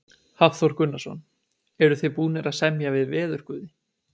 Hafþór Gunnarsson: Eruð þið búnir að semja við veðurguði?